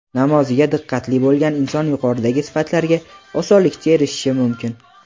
namoziga diqqatli bo‘lgan inson yuqoridagi sifatlarga osonlikcha erishishi mumkin.